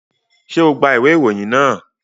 Ṣe o gba iwe iroyin naa?